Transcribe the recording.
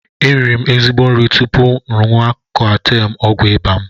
E riri m ezigbo nri tupu ṅụwa Koatem ọgwụ ịba m.